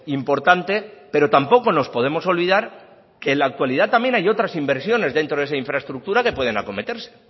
importante pero tampoco nos podemos olvidar que en la actualidad hay otras inversiones dentro de esa infraestructura que pueden acometerse